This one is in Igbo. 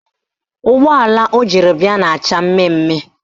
Ụgbọala o jiri bịa na-acha mmemme mmemme